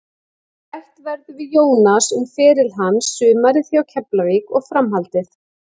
Rætt verður við Jónas um feril hans, sumarið hjá Keflavík og framhaldið.